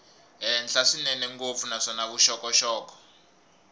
henhla swinene ngopfu naswona vuxokoxoko